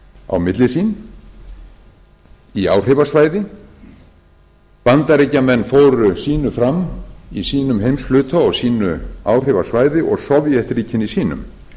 á milli sín í áhrifasvæði bandaríkjamenn fóru sínu fram í sínum heimshluta og á sínu áhrifasvæði og sovétríkin í sínum